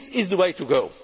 method. This is the way